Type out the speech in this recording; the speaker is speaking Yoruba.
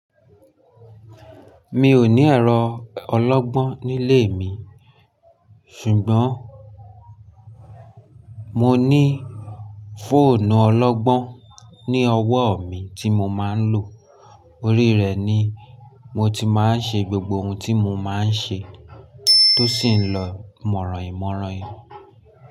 Mi ò ní ẹ̀rọ ọlọ́gbọ́n nílé mi, ṣùgbọ́n mo ní fóònù ọlọ́gbọ́n ní ọwọ́ mi tí mo máa ń lò. Orí rẹ̀ ni mo ti máa ń ṣe gbogbo ohun tí mo máa ń ṣe tó sì ń lọ mọ̀ràhìmọ̀rànhi.